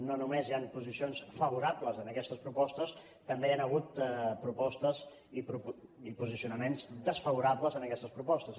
no només hi han posicions favorables a aquestes propostes també hi han hagut propostes i posicionaments desfavorables a aquestes propostes